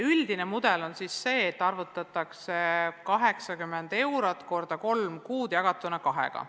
Üldine mudel on selline, et 80 eurot korrutatakse kolme kuuga ja jagatakse kahega.